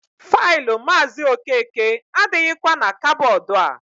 Faịlụ Maazị Okeke adịghịkwa na kabọọdụ a.